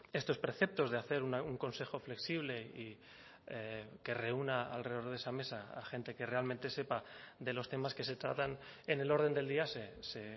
estos preceptos de hacer un consejo flexible y que reúna alrededor de esa mesa a gente que realmente sepa de los temas que se tratan en el orden del día se